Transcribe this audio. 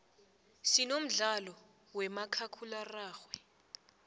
sinomdlalo wemakhakhulaxoxhwe